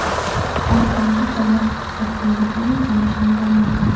Ortimda qo‘llab-quvvatlaydigan tanishim bo‘lmagan.